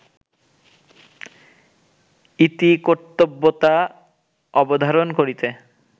ইতিকর্তব্যতা অবধারণ করিতে